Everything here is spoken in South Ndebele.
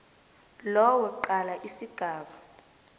lowo qala isigaba